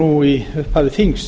nú í upphafi þings